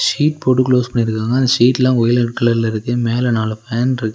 Sheet போட்டு close பண்ணிருக்காங்க அந்த ஷீட்லா ஒயலட் கலர்ல இருக்கு மேல நாலு ஃபேன்ருக்கு .